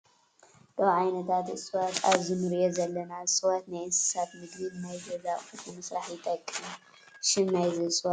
ካብ ዓይነታት እፅዋት ኣብዚ እንሪኦ ዘለና እፅዋት ናይ እንስሳት ምግቢን ንናይ ገዛ ኣቁሑት ንምስራሕ ይጠቅም። ሽም ናይዚ እፅዋት እንታይ ይበሃል ?